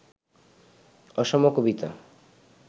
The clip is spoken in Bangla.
অসম কবিতা